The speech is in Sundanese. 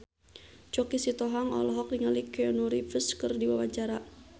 Choky Sitohang olohok ningali Keanu Reeves keur diwawancara